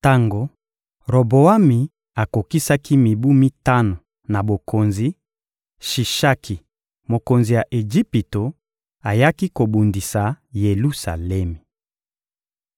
Tango Roboami akokisaki mibu mitano na bokonzi, Shishaki, mokonzi ya Ejipito, ayaki kobundisa Yelusalemi.